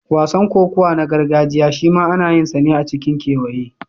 Wasan kokawa na gargajiya shima ana yinsa ne a cikin kewaye.